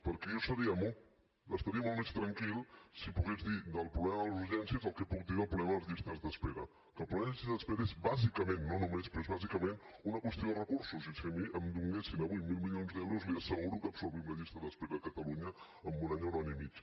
perquè jo estaria molt més tranquil si pogués dir del problema de les urgències el que puc dir del problema de les llistes d’espera que el problema de les llistes d’espera és bàsicament no només però és bàsicament una qüestió de recursos i si a mi em donessin avui mil milions d’euros li asseguro que absorbim la llista d’espera a catalunya en un any o un any i mig